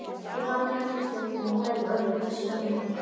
Ég fann hjartaslög þín í hverju orði, blessuð vina mín.